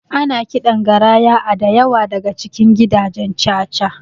Ana kiɗan garaya a dayawa daka cikin gidajen caca